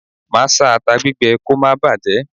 Máa a sá ata gbígbẹ kò máa bàjé.